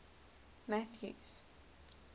mathews